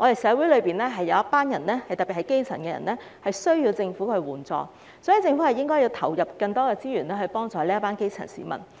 下，社會需要政府援助，特別是基層人士，所以政府需要投放更多資源，幫助這群基層市民。